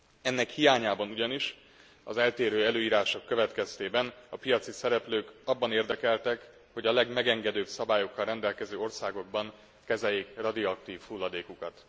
Ennek hiányában ugyanis az eltérő előírások következtében a piaci szereplők abban érdekeltek, hogy a legmegengedőbb szabályokkal rendelkező országokban kezeljék radioaktív hulladékukat.